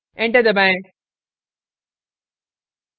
enter दबाएं